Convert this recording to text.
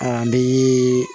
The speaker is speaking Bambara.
A bi